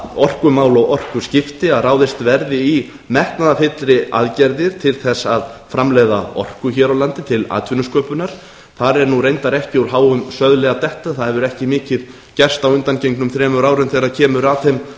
orkumál og orkuskipti að ráðist verði í metnaðarfyllri aðgerðir til að framleiða orku hér á landi til atvinnusköpunar þar er reyndar ekki úr háum söðli að detta en það hefur ekki mikið gerst á undangengnum þremur árum þegar kemur að þeim